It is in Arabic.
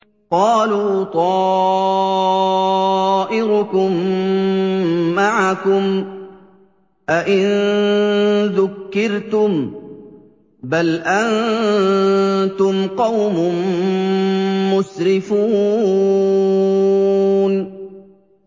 قَالُوا طَائِرُكُم مَّعَكُمْ ۚ أَئِن ذُكِّرْتُم ۚ بَلْ أَنتُمْ قَوْمٌ مُّسْرِفُونَ